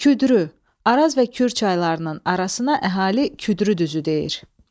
Küdrü, Araz və Kür çaylarının arasına əhali Küdrü düzü deyir.